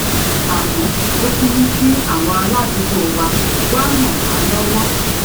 àmó ó tún mú kí àwọn aládùúgbò wa wá ràn wá lówó